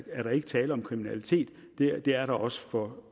er der ikke tale om kriminalitet det er der også for